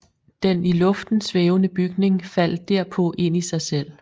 Den i luften svævende bygning faldt derpå ind i sig selv